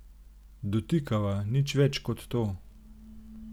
Dotikava, nič več ko to.